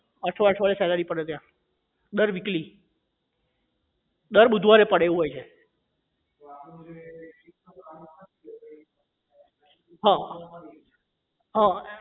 અઠવાડિયે અઠવાડિયે salary પડે ત્યાં દર weekly દર બુધવારે પડે એવું હોય છે હા હા